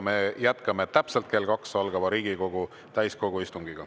Me jätkame täpselt kell 14 algava Riigikogu täiskogu istungiga.